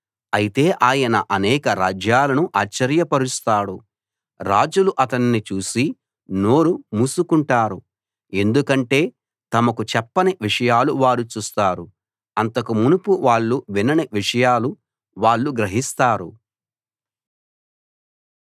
అయితే ఆయన అనేక రాజ్యాలను ఆశ్చర్యపరుస్తాడు రాజులు అతన్ని చూసి నోరు మూసుకుంటారు ఎందుకంటే తమకు చెప్పని విషయాలు వారు చూస్తారు అంతకు మునుపు వాళ్ళు వినని విషయాలు వాళ్ళు గ్రహిస్తారు